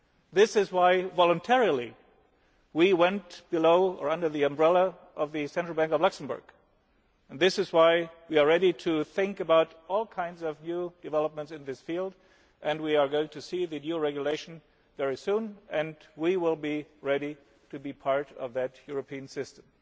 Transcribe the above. was rejected. This is why we voluntarily went under the umbrella of the Central Bank of Luxembourg. This is why we are ready to think about all kinds of new developments in this field, and we are going to see the new regulation very soon and we will be ready to be part of that European